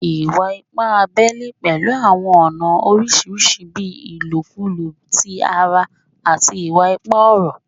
Iwa-ipa abẹle pẹlu awọn ọna oriṣiriṣi bii ilokulo ti ara ati iwa-ipa ọrọ